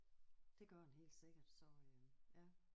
Det gør den helt sikkert så øh ja